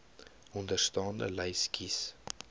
onderstaande lys kies